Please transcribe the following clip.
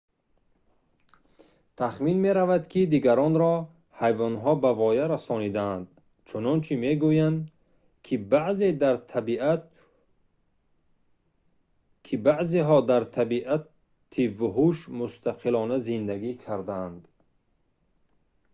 тахмин меравад ки дигаронро ҳайвонҳо ба воя расонидаанд чунончи мегӯянд ки баъзеҳо дар табиати вуҳуш мустақилона зиндагӣ кардаанд